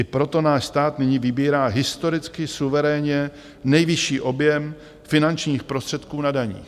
I proto náš stát nyní vybírá historicky suverénně nejvyšší objem finančních prostředků na daních.